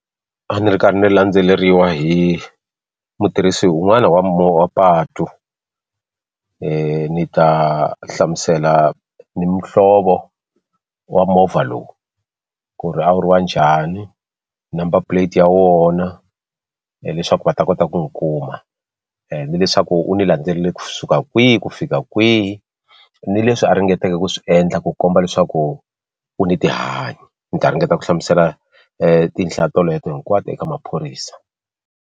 A ni ri karhi ni landzeleriwa hi mutirhisi un'wana wa patu ni ta hlamusela ni muhlovo wa movha lowu ku ri a wu ri wa njhani number plate ya wona leswaku va ta kota ku wu kuma ende leswaku u ni landzelele kusuka kwihi ku fika kwihi ni leswi a ringetake ku swi endla ku komba leswaku u ni tihanyi ni ta ringeta ku hlamusela toleto hinkwato eka maphorisa.